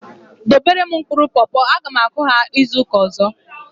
Dobere m mkpụrụ popo! A ga m akụ ha izuka ọzọ